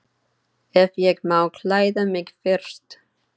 Ef ég má klæða mig fyrst.